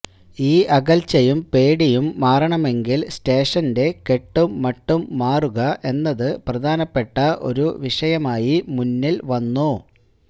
ഈ അകല്ച്ചയും പേടിയും മാറണമെങ്കില് സ്റേറഷന്റെ കെട്ടും മട്ടും മാറുക എന്നത് പ്രധാനപ്പെട്ട ഒരു വിഷയമായി മുന്നില് വന്നു